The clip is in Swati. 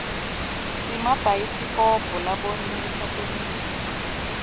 simabhayisikobho labonisa temphilo